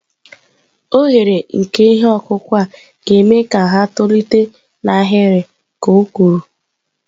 Oghere nke ihe ọkụkụ a ga-eme ka ha tolite n'ahịrị," ka o kwuru."